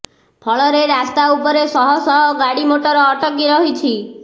ଫଳରେ ରାସ୍ତା ଉପରେ ଶହ ଶହ ଗାଡି ମୋଟର ଅଟକି ରହିଛି